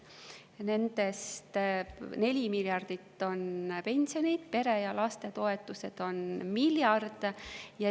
Nendest 4 miljardit on pensionid ning pere‑ ja lastetoetused on miljard.